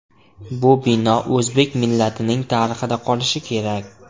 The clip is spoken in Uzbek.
Bu bino o‘zbek millatining tarixida qolishi kerak.